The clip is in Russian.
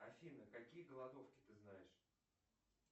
афина какие голодовки ты знаешь